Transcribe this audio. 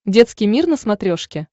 детский мир на смотрешке